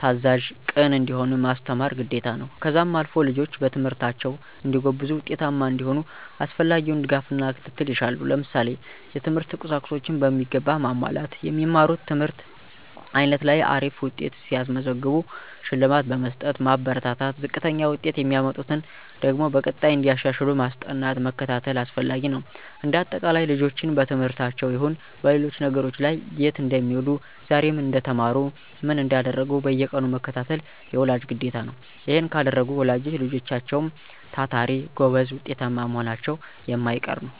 ታዛዥ፣ ቅን እንዲሆኑ ማስተማር ግዴታ ነው። ከዛም አልፎ ልጆች በትምህርታቸው እንዲጎብዙ ውጤታማ እንዲሆኑ አስፈላጊውን ድጋፍና ክትትል ይሻሉ። ለምሳሌ፦ የትምህርት ቁሳቁሶችን በሚገባ ማሟላት። የሚማሩት ትምህርት አይነት ላይ አሪፍ ውጤት ሲያስመዘግቡ ሽልማት በመስጠት ማበረታታት፣ ዝቅተኛ ውጤት የሚያመጡበትን ደግሞ በቀጣይ እንዲያሻሽሉ ማስጠናት መከታተል አስፈላጊ ነው። እንደ አጠቃላይ ልጆችን በትምህርታቸውም ይሁን በሌሎች ነገሮች ላይ የት እንደሚውሉ ዛሬ ምን እንደተማሩ ምን እንዳደረጉ በየቀኑ መከታተል የወላጅ ግዴታ ነው። ይሔን ካደረጉ ወላጆች ልጆችም ታታሪ፣ ጎበዝ ውጤታማ መሆናቸው የማይቀር ነው።